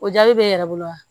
O jaabi bɛ n yɛrɛ bolo wa